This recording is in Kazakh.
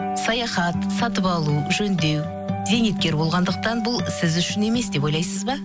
саяхат сатып алу жөндеу зейнеткер болғандықтан бұл сіз үшін емес деп ойлайсыз ба